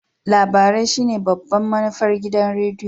Labarai shine babban manufar gidan rediyo.